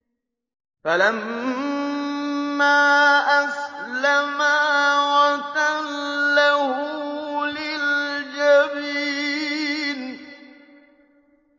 فَلَمَّا أَسْلَمَا وَتَلَّهُ لِلْجَبِينِ